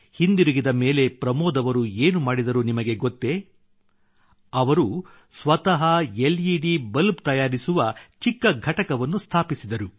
ಹಿಂದಿರುಗಿದ ಮೇಲೆ ಪ್ರಮೋದ್ ಅವರು ಏನು ಮಾಡಿದರು ನಿಮಗೆ ಗೊತ್ತೇ ಅವರು ಸ್ವತಃ ಲೆಡ್ ಬಲ್ಬ್ ತಯಾರಿಸುವ ಚಿಕ್ಕ ಘಟಕವನ್ನು ಸ್ಥಾಪಿಸಿದರು